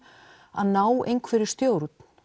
að ná einhverri stjórn